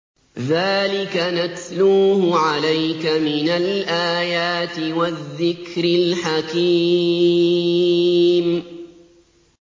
ذَٰلِكَ نَتْلُوهُ عَلَيْكَ مِنَ الْآيَاتِ وَالذِّكْرِ الْحَكِيمِ